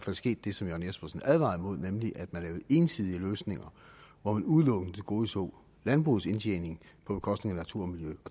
er sket det som jørn jespersen advarede imod nemlig at man lavede ensidige løsninger hvor man udelukkende tilgodeså landbrugets indtjening på bekostning af natur og miljø